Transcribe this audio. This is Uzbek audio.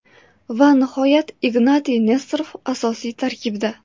Va nihoyat Ignatiy Nesterov asosiy tarkibda.